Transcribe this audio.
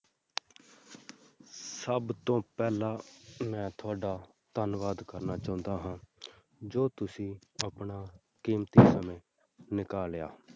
ਸਭ ਤੋਂ ਪਹਿਲਾਂ ਮੈਂ ਤੁਹਾਡਾ ਧੰਨਵਾਦ ਕਰਨਾ ਚਾਹੁੰਦਾ ਹਾਂ ਜੋ ਤੁਸੀਂ ਆਪਣਾ ਕੀਮਤੀ ਸਮਾਂ ਨਿਕਾਲਿਆ।